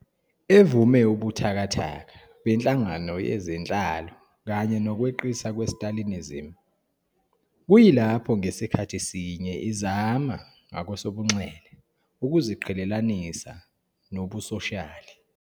evume ubuthakathaka benhlangano yezenhlalo kanye nokweqisa kweStalinism, kuyilapho ngasikhathi sinye izama ngakwesobunxele ukuziqhelelanisa nobusoshiyali.